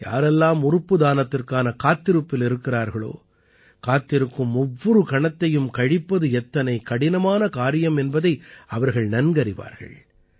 யாரெல்லாம் உறுப்பு தானத்திற்கான காத்திருப்பில் இருக்கிறார்களோ காத்திருக்கும் ஒவ்வொரு கணத்தையும் கழிப்பது எத்தனை கடினமான காரியம் என்பதை அவர்கள் நன்கறிவார்கள்